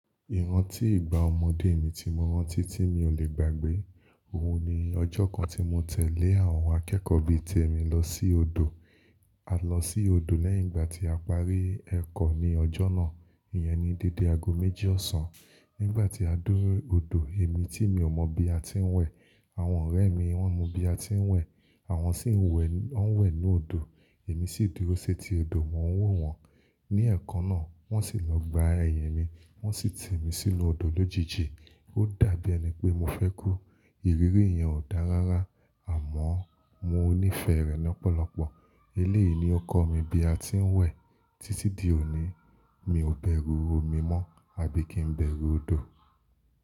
Ìrántí ìgbà ọmọdé mi tí mo rántí tí mi ò lè gbàgbé. Ohun ni ọjọ́ kan tí mo tẹ̀lé àwọn akẹ́kọ̀ọ́ bí i tèmi lọ sí odò. A lọ sí odò lẹ́yìn ìgbà tí a parí ẹ̀kọ́ ní ọjọ́ náà. Ìyẹn ni dédé ago méjì ọ̀sán. Nígbà tí a dé odò, èmi tí mi ò mọ̀ bí a ti ń wẹ̀, àwọn ọ̀rẹ́ mi wọ́n mọ bí a ti ń wẹ̀, àwọn sì ń wẹ̀, wọ́n ń wẹ̀ inú odò. Èmi sì dúró sé ti odò, mò ń wò wọ́n. Ni èèkànná, wọ́n sì lọ gbá ẹ̀yin mi, wọ́n sì ti mi sínú odò lójijì. Ó dàbí ẹni pé mo fẹ́ kú. Ìrírí yẹn ò dára rárá, àmọ́ mo nífẹ̀ẹ́ rẹ̀ lọ́pọ̀lọpọ̀. Eléyìí ni ó kọ́ mi bí a ti ń wẹ̀. Títí di òní, mi ò bẹ̀rù omi mọ́, àbí kí n bẹ̀rù odò.